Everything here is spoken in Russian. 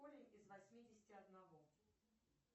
корень из восьмидесяти одного